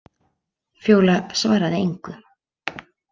Fjóla svaraði engu.